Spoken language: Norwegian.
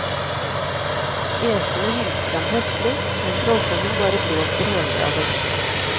Æsene hilser ham høflig, men trollkongen bare blåser hånlig av dem.